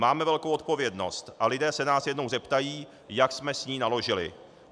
Máme velkou odpovědnost a lidé se nás jednou zeptají, jak jsme s ní naložili.